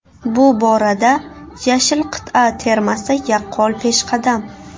Bu borada yashil qit’a termasi yaqqol peshqadam.